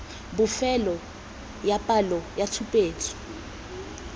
bofelo ya palo ya tshupetso